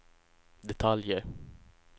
detaljer